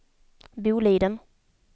Boliden